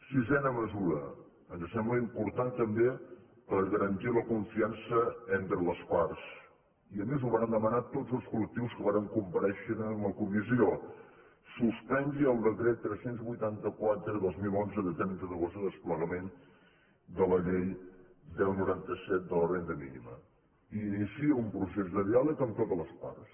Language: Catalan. sisena mesura ens sembla important també per garantir la confiança entre les parts i a més ho vàrem demanar tots els col·lectius que vàrem comparèixer en la comissió suspengui el decret tres cents i vuitanta quatre dos mil onze de trenta d’agost de desplegament de la llei deu noranta set de la renda mínima i iniciï un procés de diàleg amb totes les parts